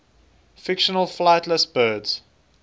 fictional flightless birds